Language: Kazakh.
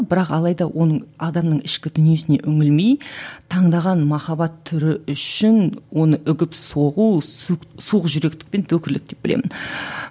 бірақ алайда оның адамның ішкі дүниесіне үңілмей таңдаған махаббат түрі үшін оны үгіп соғу суық жүректік пен деп білемін